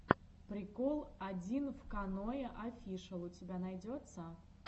прикол одинвканоеофишэл у тебя найдется